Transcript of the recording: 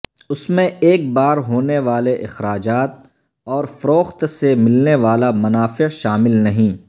اس میں ایک بار ہونے والے اخراجات اور فروخت سے ملنے والا منافع شامل نہیں